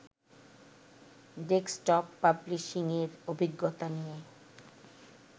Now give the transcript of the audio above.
desktop পাবলিশিংয়ের অভিজ্ঞতা নিয়ে